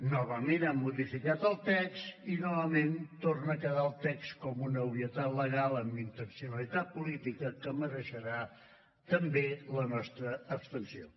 novament han modificat el text i novament torna a quedar el text com una obvietat legal amb intencionalitat política que mereixerà també la nostra abstenció